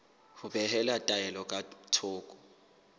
ho behela taelo ka thoko